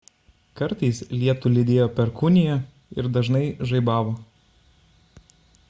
kartais lietų lydėjo perkūnija ir dažnai žaibavo